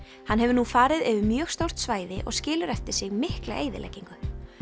hann hefur nú farið yfir mjög stórt svæði og skilur eftir sig mikla eyðileggingu